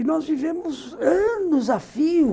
E nós vivemos anos a fim.